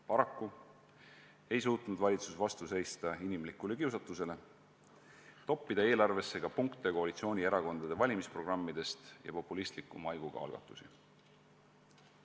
Paraku ei suutnud valitsus vastu seista inimlikule kiusatusele toppida eelarvesse ka punkte koalitsioonierakondade valimisprogrammidest ja populistliku maiguga algatusi.